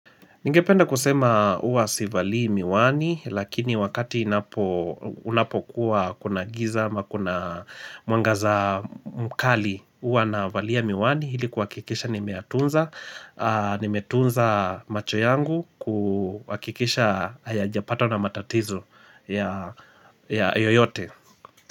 Ningependa kusema uwa sivalii miwani lakini wakati inapo unapokuwa kuna giza ama kuna mwangaza mkali uwa na valia miwani ili kuwakikisha ni meyatunza nimetunza macho yangu kuwakikisha haya japata na matatizo ya yoyote.